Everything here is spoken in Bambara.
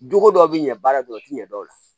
Don ko dɔ bi ɲɛ baara dɔrɔn o ti ɲɛ dɔn o la